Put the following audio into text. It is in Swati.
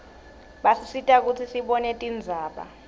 basisita kutsi sibone tindzaba